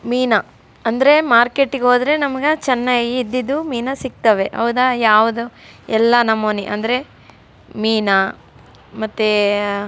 ಮೀನಾ ಅಂದ್ರೆ ಮಾರ್ಕೆಟ್ ಗೆ ಹೋದ್ರೆ ನಮಗ ಚೆನ್ನಾಗಿ ಇದ್ದದ್ದು ಮೀನಾ ಸಿಕ್ತವೇ ಹೌದಾ ಯಾವುದೊ ಎಲ್ಲ ನಮುನೆ ಅಂದ್ರೆ ಮೀನಾ ಮತ್ತೆ --